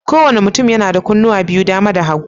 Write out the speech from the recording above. Kowane mutum yana da kunnuwa biyu, dama da hagu.